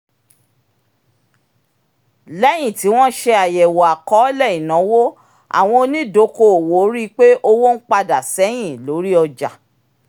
léyìn tí wọ́n ṣe àyẹ̀wò àkọọlẹ̀ ináwó àwọn onídokòòwò rí pé owó ń padà sẹ́yìn lórí ọjà